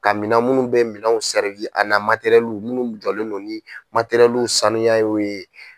Ka minɛn munnu bɛ minɛnw a na munnu jɔlen sanuyaw ye.